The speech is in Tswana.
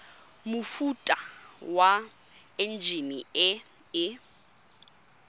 mofuta wa enjine e e